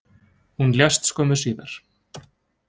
Hún lést skömmu síðar